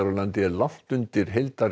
landi er langt undir